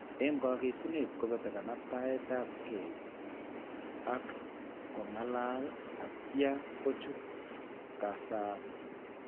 Eng' kang'esunet ko beti kanaktaetap ke ak kong'alal atya kochut kasaat.